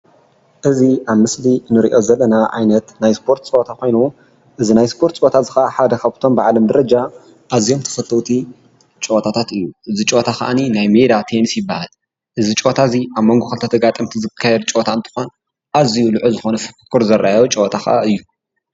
እዚ ኣብ ምስሊ እንሪኦ ዘለና ዓይነት ናይ እስፖርት ፀወታ ኮይኑ እዚ ናይ ስፖርት ፀወታ እዚ ኽዓ ሓድ ካበቶም ብዓለም ደረጃ ኣዝዮም ተፈተዉቲ ጨወታታት እዩ። እዚ ጨወታ ኽኣኒ ናይ ሜዳ ቴንስ ይብሃል። አዚ ጨወታ እዚ ኣብ ሞንጎ ክልተ ተጋጠምቲ ዝካየድ ጨወታ እንትኾን ኣዝዩ ልዑል ዝኾነ ፍኩኩር ዝርኣዮ ጨወታ ክኣ እዩ።